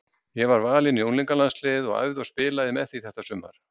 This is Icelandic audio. Ég var valinn í unglingalandsliðið og æfði og spilaði með því þetta sumar.